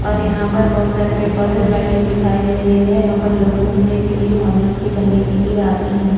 ओर यहा पर बहोत सारे पेड़ पोधे और लाइटिंग दिखाई दे रही है यहा पर लोग गुमने के लिए मोज मस्ती करने के लिए आते है।